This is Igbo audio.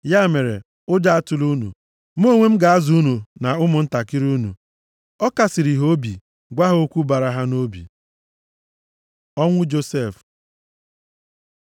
Ya mere, ụjọ atụla unu. Mụ onwe m ga-azụ unu na ụmụntakịrị unu.” Ọ kasịrị ha obi, gwa ha okwu bara ha nʼobi. Ọnwụ Josef